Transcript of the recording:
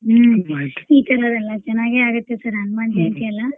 ಹ್ಮ್ ಈ ತರದೆಲ್ಲ ಚೆನ್ನಾಗೆ ಆಗುತ್ತೆ sir ಹನುಮಾನ್ ಜಯಂತಿ ಎಲ್ಲಾ.